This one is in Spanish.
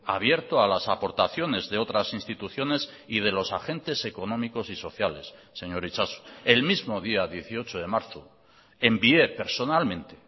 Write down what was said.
abierto a las aportaciones de otras instituciones y de los agentes económicos y sociales señor itxaso el mismo día dieciocho de marzo envié personalmente